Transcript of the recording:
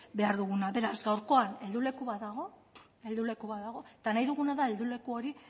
behar duguna beraz gaurkoan helduleku bat dago eta nahi duguna da helduleku hori